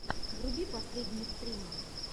вруби последние стримы